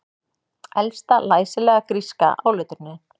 Elsta læsilega gríska áletrunin